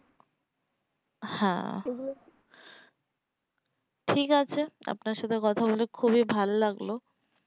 হ্যাঁ ঠিক আছে আপনার সাথে কথা বলে খুবই ভালো লাগলো